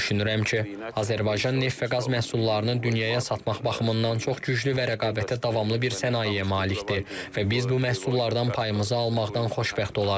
Düşünürəm ki, Azərbaycan neft və qaz məhsullarının dünyaya satmaq baxımından çox güclü və rəqabətə davamlı bir sənayeyə malikdir və biz bu məhsullardan payımızı almaqdan xoşbəxt olarıq.